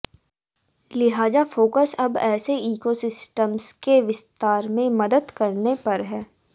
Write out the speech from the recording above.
लिहाजा फोकस अब ऐसे इकोसिस्टम्स के विस्तार में मदद करने पर है